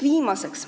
Viimaseks.